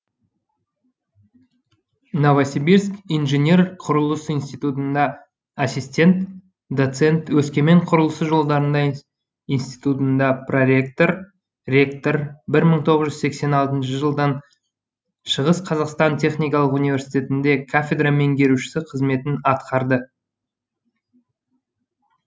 новосибирск инжинер құрылыс институтында ассистент доцент өскемен құрылысы жолдарында институтында проректор ректор бір мың тоғыз жүз сексен алтыншы жылдан шығыс қазақстан техникалық университетінде кафедра меңгерушісі қызметін атқарды